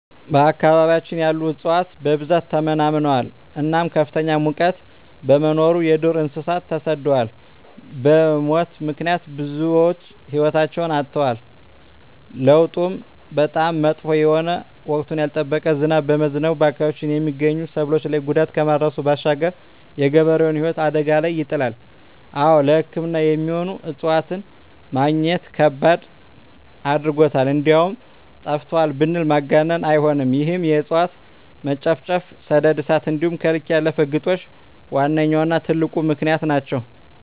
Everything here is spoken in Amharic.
በአካባቢያችን ያሉ እፅዋት በብዛት ተመናምነዋል እናም ከፍተኛ ሙቀት በመኖሩ የዱር እንሰሳት ተሰደዋል በሙት ምክንያት ብዙወች ህይወታቸዉን አጠዋል። ለዉጡም በጣም መጥፎ የሆነ ወቅቱን ያልጠበቀ ዝናብ በመዝነቡ በአካባቢያችን የመገኙ ሰብሎች ላይ ጉዳት ከማድረሱም ባሻገር የገበሬዉን ህይወት አደጋ ላይ ይጥላል። አወ ለሕክምና የሚሆኑ እፅዋትን መግኘት ከባድ አድርጎታል እንደዉም ጠፍተዋል ብንል ማጋነን አይሆንም ይህም የእፅዋት መጨፍጨፍ፣ ሰደድ እሳት እንዲሆም ከልክ ያለፈ ግጦሽ ዋነኛዉና ትልቁ ምክንያት ናቸዉ።